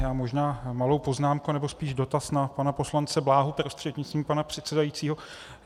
Já možná malou poznámku nebo spíš dotaz na pana poslance Bláhu prostřednictvím pana předsedajícího.